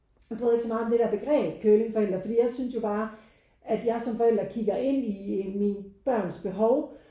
Jeg bryder mig ikke så meget om det der begreb curlingforældre for jeg synes jo bare at jeg som forældre kigger ind i mine børns behov